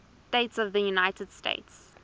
states of the united states